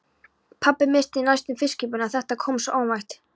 Pabbi missti næstum fiskkippuna, þetta kom svo óvænt.